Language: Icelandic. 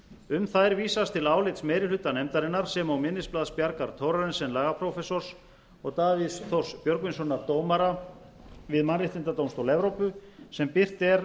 um þær vísast til álits meiri hluta nefndarinnar sem og minnisblaðs bjargar thorarensen lagaprófessors og davíðs þórs björgvinssonar dómara við mannréttindadómstól evrópu sem birt er